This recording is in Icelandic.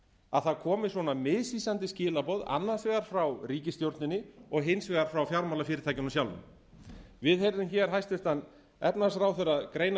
að það komi svona misvísandi skilaboð annars vegar frá ríkisstjórninni og hins vegar frá fjármálafyrirtækjunum sjálfum við heyrðum hér hæstvirtur efnahagsráðherra greina